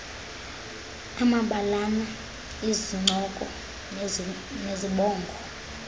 amabalana izincoko nezibongo